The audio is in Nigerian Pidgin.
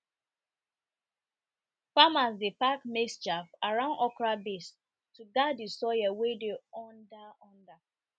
farmers dey pack maize chaff around okra base to guard the soil wey dey